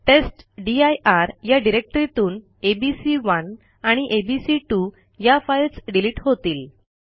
टेस्टदीर या डिरेक्टरीतून एबीसी1 आणि एबीसी2 या फाईल्स डिलिट होतील